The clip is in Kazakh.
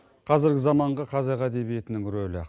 қазіргі заманғы қазақ әдебиетінің рөлі